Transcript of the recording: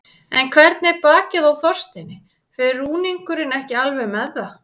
En hvernig er bakið á Þorsteini, fer rúningurinn ekki alveg með það?